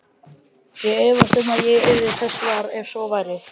Ég efast um að ég yrði þess var, ef svo væri